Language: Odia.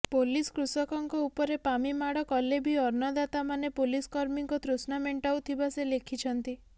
ପୋଲିସ କୃଷକଙ୍କ ଉପରେ ପାମି ମାଡ କଲେ ବି ଅନ୍ନଦାତାମାନେ ପୋଲିସ କର୍ମୀଙ୍କ ତୃଷ୍ଣା ମେଣ୍ଟାଉଥିବା ସେ ଲେଖିଛନ୍ତି